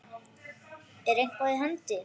Er eitthvað í hendi?